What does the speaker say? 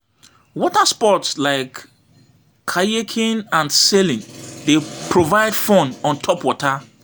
Water sports like kayaking and sailing dey provide fun on top water.